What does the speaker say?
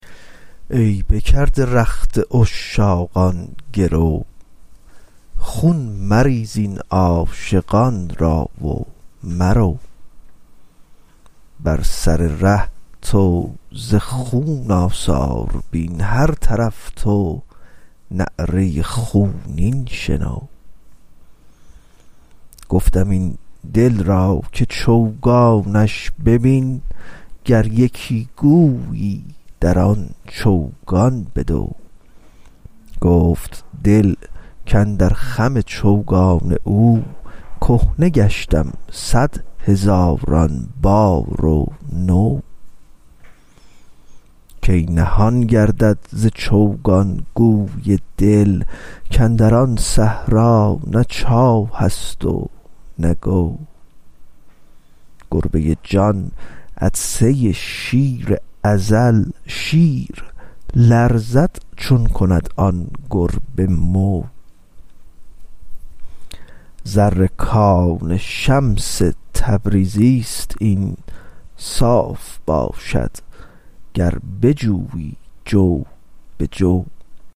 ای بکرده رخت عشاقان گرو خون مریز این عاشقان را و مرو بر سر ره تو ز خون آثار بین هر طرف تو نعره خونین شنو گفتم این دل را که چوگانش ببین گر یکی گویی در آن چوگان بدو گفت دل کاندر خم چوگان او کهنه گشتم صد هزاران بار و نو کی نهان گردد ز چوگان گوی دل کاندر آن صحرا نه چاه است و نه گو گربه جان عطسه شیر ازل شیر لرزد چون کند آن گربه مو زر کان شمس تبریزی است این صاف باشد گر بجویی جو به جو